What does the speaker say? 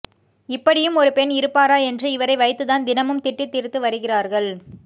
இப்படியும் ஒரு பெண் இருப்பாரா என்று இவரை வைத்துதான் தினமும் திட்டி தீர்த்து வருகிறார்கள்